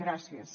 gràcies